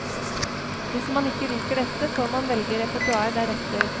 Hvis man ikke liker dette, får man velge repertoar deretter.